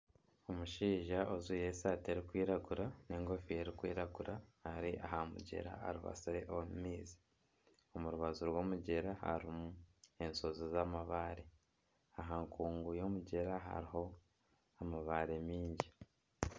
Omushaija ojwaire esaati erkwiragura n'enkofiira erikwiragura ari aha mugyera aribatsire omu maizi. Omu rubaju rw'omugyera harimu enshozi z'amabaare. Aha nkungu y'omugyera hariho amabaare maingi.